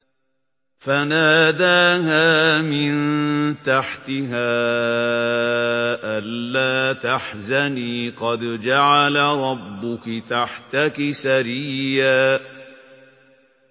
فَنَادَاهَا مِن تَحْتِهَا أَلَّا تَحْزَنِي قَدْ جَعَلَ رَبُّكِ تَحْتَكِ سَرِيًّا